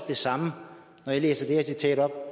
det samme når jeg læser det her citat op